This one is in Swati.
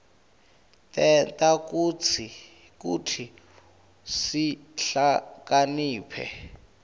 tenta kutsi sihlakaniphe